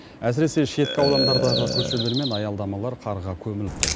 әсіресе шеткі аудандардағы көшелер мен аялдамалар қарға көміліп тұр